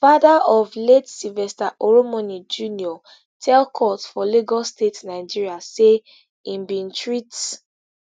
father of late sylvester oromoni junior tell court for lagos state nigeria say im bin treat